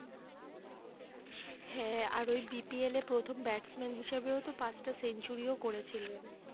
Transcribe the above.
হ্যাঁ আর ওই BPL এ প্রথম ব্যাটম্যান হিসাবেও তো পাঁচটা সেঞ্চুরিও করেছিলেন